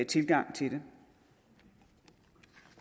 tilgang til